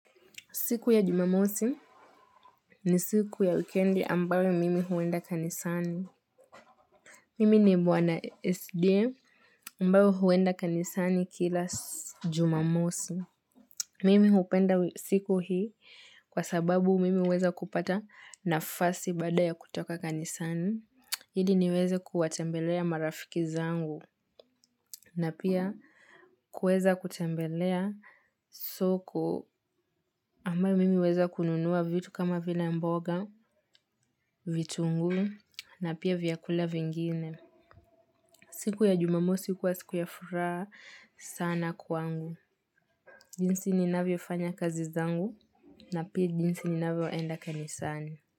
Siku ya Jumamosi ni siku ya wikendi ambayo mimi huenda kanisani. Mimi ni mwana SDA ambayo huenda kanisani kila Jumamosi. Mimi hupenda siku hii kwa sababu mimi huweza kupata nafasi baada ya kutoka kanisani. Ili niweze kuwatembelea marafiki zangu. Na pia kuweza kutembelea soko ambayo mimi huweza kununua vitu kama vila mboga, vitunguu na pia vyakula vingine. Siku ya Jumamosi huwa siku ya furaha sana kwangu. Jinsi ninavyofanya kazi zangu na pia jinsi ninavyoenda kanisani.